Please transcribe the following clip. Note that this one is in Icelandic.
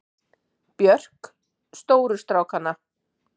Björk: Stóru strákana.